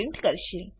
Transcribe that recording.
print કરશે